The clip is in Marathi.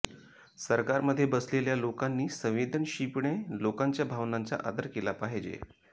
सरकार मध्ये बसलेल्या लोकांनी संवेदनशीपणे लोकांच्या भावनांचा आदर केला पाहिजे